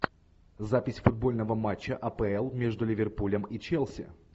запись футбольного матча апл между ливерпулем и челси